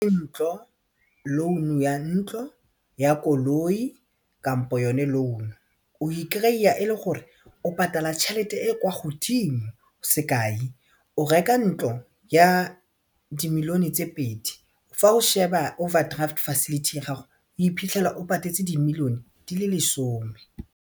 Ntlo loan ya ntlo, ya koloi kampo yone loan-u o e kry-a e le gore o patala tšhelete e e kwa godimo sekai o reka ntlo ya dimilione tse pedi fa o sheba overdraft facility ya gago o iphitlhela o patetse dimilione di le lesome.